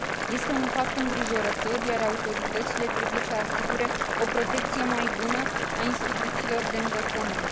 Este un fapt îngrijorător, iar autoritățile trebuie să asigure o protecție mai bună a instituțiilor de învățământ.